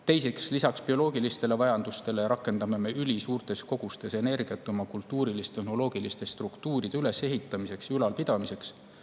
Teiseks, lisaks bioloogilistele vajadustele rakendame me ülisuurtes kogustes energiat oma kultuurilis-tehnoloogiliste struktuuride ülesehitamiseks ja ülalpidamiseks.